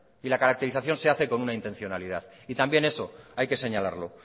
y la caracterización se hace con una intencionalidad y también eso hay que señalarlo